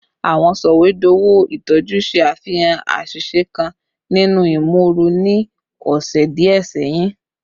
Awọn sọwedowo itọju ṣe afihan aṣiṣe kan ninu imooru ni ọsẹ diẹ sẹhin